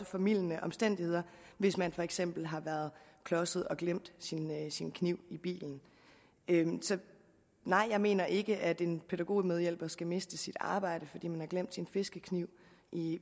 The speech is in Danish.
formildende omstændigheder hvis man for eksempel har været klodset og glemt sin kniv i bilen så nej jeg mener ikke at en pædagogmedhjælper skal miste sit arbejde fordi vedkommende har glemt sin fiskekniv i